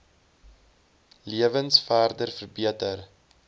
lewens verder verbeter